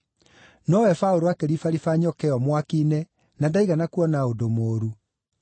Nowe Paũlũ akĩribaribĩra nyoka ĩyo mwaki-inĩ na ndaigana kuona ũndũ mũũru.